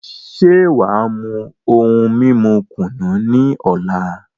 Ṣe wàá mú ohun mímu kùnú ní ọ̀la?